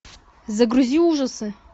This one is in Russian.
загрузи ужасы